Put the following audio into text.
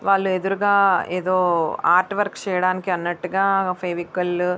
వాళ్లు ఎదురుగా ఏదో ఆర్ట్ వర్క్ చేయడానికి అన్నట్టుగా ఫెవికాల్ --